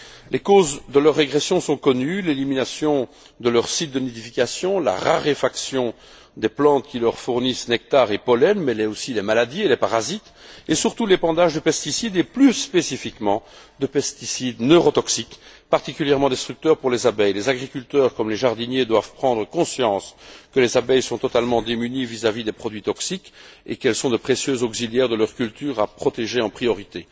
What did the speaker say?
Les causes de leur régression sont connues l'élimination de leurs sites de nidification, la raréfaction des plantes qui leur fournissent nectar et pollen, mais aussi les maladies, les parasites, et surtout l'épandage de pesticides, et plus spécifiquement de pesticides neurotoxiques, particulièrement destructeurs pour les abeilles. Les agriculteurs comme les jardiniers doivent prendre conscience que les abeilles sont totalement démunies vis à vis des produits toxiques et qu'elles sont de précieux auxiliaires de leurs cultures à protéger en priorité.